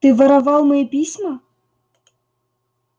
ты воровал мои письма